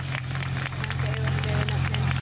Renndi augunum yfir nöfnin.